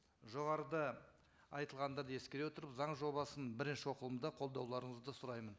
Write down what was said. жоғарыда айтылғандарды ескере отырып заң жобасын бірінші оқылымда қолдауларыңызды сұраймын